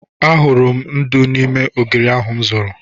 Ahụrụ m ndú n'ime ogiri ahụ m zụrụ.